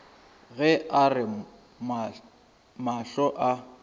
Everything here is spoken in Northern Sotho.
ge a re mahlo a